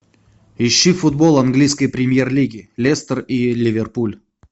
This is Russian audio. ищи футбол английской премьер лиги лестер и ливерпуль